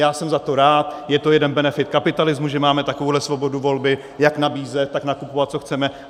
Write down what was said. Já jsem za to rád, je to jeden benefit kapitalismu, že máme takovouhle svobodu volby jak nabízet, tak nakupovat, co chceme.